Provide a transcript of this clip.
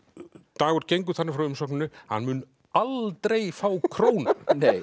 Dagur gengur þannig frá umsókninni að hann mun aldrei fá krónu